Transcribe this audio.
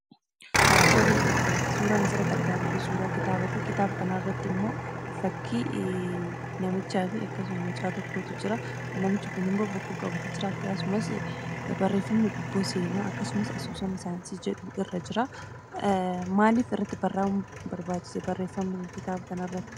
Tole ,suuraan asirratti argaa jirru kun suuraa kitaabaati, kitaaba kana irratti ammoo fakkii namichaafi akkasuma mucaa tokkotu jira. Namichi kunimmoo bokkuu qabatee jira akkasumas barreeffamni gubboo seenaa akkasumas asoosama saayinsii jedhu irra jiraa. Maaliif irratti barraa'uun barbaachise barreeffamni kun kitaaba kanarratti?